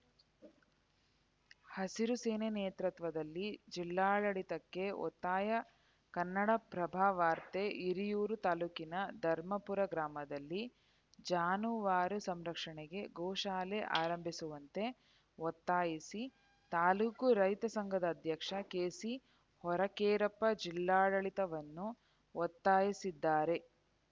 ಹಸಿರು ಸೇನೆ ನೇತೃತ್ವದಲ್ಲಿ ಜಿಲ್ಲಾಡಳಿತಕ್ಕೆ ಒತ್ತಾಯ ಕನ್ನಡಪ್ರಭವಾರ್ತೆ ಹಿರಿಯೂರು ತಾಲೂಕಿನ ಧರ್ಮಪುರ ಗ್ರಾಮದಲ್ಲಿ ಜಾನುವಾರ ಸಂರಕ್ಷಣೆಗೆ ಗೋಶಾಲೆ ಆರಂಭಿಸುವಂತೆ ಒತ್ತಾಯಿಸಿ ತಾಲೂಕು ರೈತ ಸಂಘದ ಅಧ್ಯಕ್ಷ ಕೆಸಿಹೊರಕೇರಪ್ಪ ಜಿಲ್ಲಾಡಳಿತವನ್ನು ಒತ್ತಾಯಿಸಿದ್ದಾರೆ